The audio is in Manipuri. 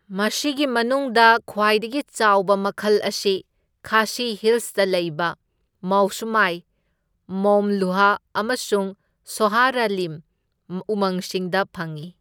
ꯃꯁꯤꯒꯤ ꯃꯅꯨꯡꯗ ꯈ꯭꯭ꯋꯥꯏꯗꯒꯤ ꯆꯥꯎꯕ ꯃꯈꯜ ꯑꯁꯤ ꯈꯥꯁꯤ ꯍꯤꯜꯁꯇ ꯂꯩꯕ ꯃꯧꯁꯃꯥꯏ, ꯃꯧꯝꯂꯨꯍ ꯑꯃꯁꯨꯡ ꯁꯣꯍꯔꯥꯔꯤꯝ ꯎꯃꯪꯁꯤꯡꯗ ꯐꯪꯏ꯫